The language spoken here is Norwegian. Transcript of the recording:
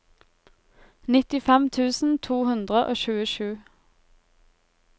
nittifem tusen to hundre og tjuesju